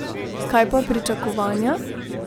Kaj pa pričakovanja?